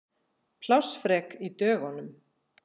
Plássfrek í dögunum.